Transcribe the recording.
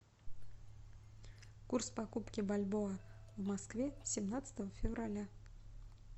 курс покупки бальбоа в москве семнадцатого февраля